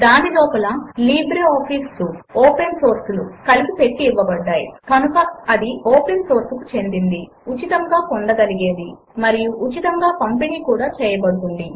దాని లోపల LibreOffice suite open source లు కలిపి పెట్టి ఇవ్వబడ్డాయి కనుక అది ఓపెన్ సోర్స్ కు చెందినది ఉచితముగా పొందగలిగేది మరియు ఉచితముగా పంపిణీ కూడా చేయబడుతుంది